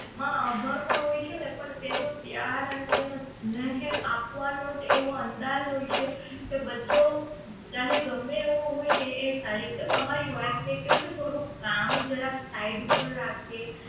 માં અભણ પણ હોય છે ને પણ તેનો પ્યાર અને તેનો સ્નેહ આપવાનો એવો અંદાજ હોય છે તે બચ્ચો ચાહે ગમ્મે એવો હોય ને એ સારી રીતે તમારી વાત ને કેવું કે થોડુંક કામ જરાક થોડું side ઉપર રાખે